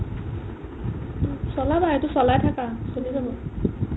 চলাবা এইটো চলাই থাকা চলি যাব